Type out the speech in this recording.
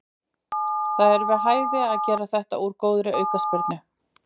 Það var við hæfi að gera þetta úr góðri aukaspyrnu.